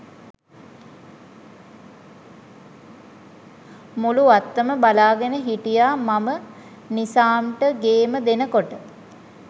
මුළු වත්තම බලා ගෙන හිටියා මම නිසාම්ට ගේම දෙනකොට.